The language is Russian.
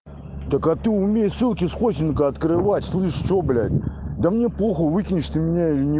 так а ты умеешь ссылки с хостинга открывать слышь что блять да мне похуй выкинешь ты меня или не